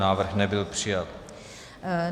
Návrh nebyl přijat.